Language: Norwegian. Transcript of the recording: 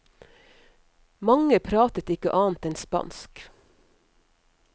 Mange pratet ikke annet enn spansk.